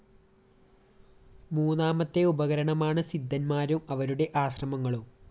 മൂന്നാമത്തെ ഉപകരണമാണ് സിദ്ധന്മാരും അവരുടെ ആശ്രമങ്ങളും